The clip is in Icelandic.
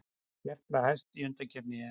Gerpla hæst í undankeppni EM